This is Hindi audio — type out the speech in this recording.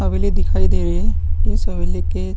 हवेली दिखाई दे रही है इस हवेली के --